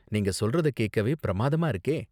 நீங்க சொல்றத கேக்கவே பிரம்மாதமா இருக்கே!